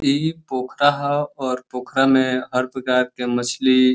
ई पोखरा ह और पोखरा में हर प्रकार के मछली --